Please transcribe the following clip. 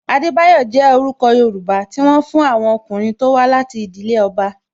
Adebayo jẹ orúkọ Yoruba ti wọn fún àwọn ọkùnrin tó wá láti ìdílé ọba